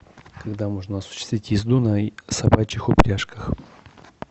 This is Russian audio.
когда можно осуществить езду на собачьих упряжках